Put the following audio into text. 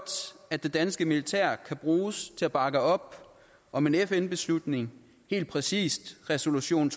at det danske militær kan bruges til at bakke op om en fn beslutning helt præcis resolution